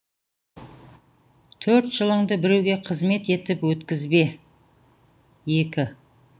төрт жылыңды біреуге қызмет етіп өткізбе екі